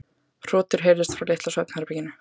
Hrotur heyrðust frá litla svefnherberginu.